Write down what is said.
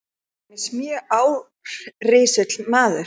Hann var til dæmis mjög árrisull maður.